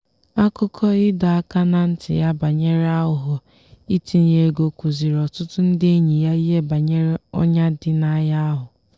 akụkọ ịdọ aka ná ntị ya banyere aghụghọ itinye ego kụziiri ọtụtụ ndị enyi ya ihe banyere ọnyà dị n'ahịa ahụ.